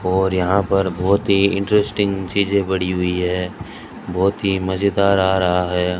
और यहां पर बोहोत ही इंटरस्टिंग चीजें पड़ी हुई हैं बोहोत ही मजेदार आ रहा है।